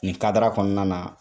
Nin kadara kɔnɔna na